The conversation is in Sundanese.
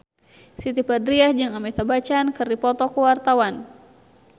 Siti Badriah jeung Amitabh Bachchan keur dipoto ku wartawan